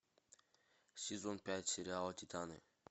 сезон пять сериала титаны